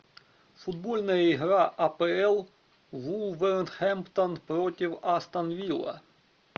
футбольная игра апл вулверхэмптон против астон вилла